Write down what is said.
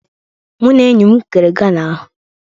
Mụ na enyi m kere gala ahụ